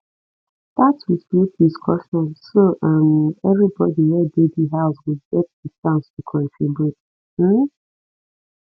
start with group discussion so um everybody wey de di house go get di chance to contribute um